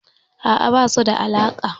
A'a, ba su da alaƙa.